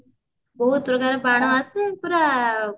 ବହୁତ ପ୍ରକାର ବାଣ ଆସେ ପୁରା